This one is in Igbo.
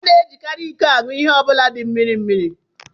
A na-ejikarị iko aṅụ ihe ọ bụla di mmiri mmiri